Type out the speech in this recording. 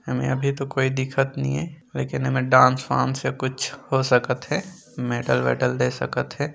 एमे अभी तो कोई दिखत नइ हे डांस वांस या कुछ हो सकत हे मेडल वेडल दे सकत हे।